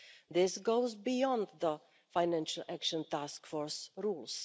This goes beyond the Financial Action Task Force rules.